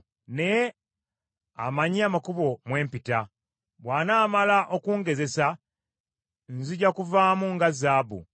Naye amanyi amakubo mwe mpita, bw’anaamala okungezesa, nzija kuvaamu nga zaabu.